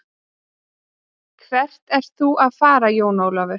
Hvert ert þú að fara Jón Ólafur.